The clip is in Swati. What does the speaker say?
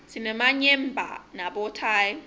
sinemayemba nabothayi